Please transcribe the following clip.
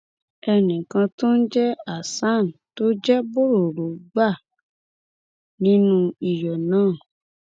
ẹnìkan tó ń jẹ hasan tó jẹ bọrọrọ gbà nínú iyọ náà